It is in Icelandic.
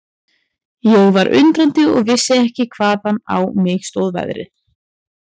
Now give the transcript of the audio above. Ég var undrandi og vissi ekki hvaðan á mig stóð veðrið.